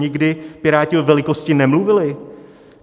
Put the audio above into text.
Nikdy Piráti o velikosti nemluvili!